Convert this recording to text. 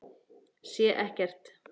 Sé ekkert.